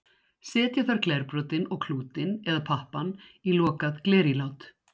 Setja þarf glerbrotin og klútinn, eða pappann, í lokað glerílát.